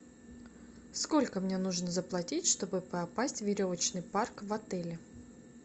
сколько мне нужно заплатить чтобы попасть в веревочный парк в отеле